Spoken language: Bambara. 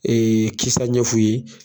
kisa ɲɛf'u ye